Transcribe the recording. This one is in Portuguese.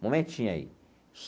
Um momentinho aí.